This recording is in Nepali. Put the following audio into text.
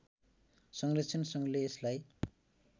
संरक्षण सङ्घले यसलाई